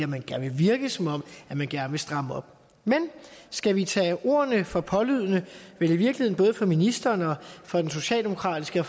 man gerne vil virke som om man gerne vil stramme op men skal vi tage ordene for pålydende vel i virkeligheden både fra ministeren og fra den socialdemokratiske og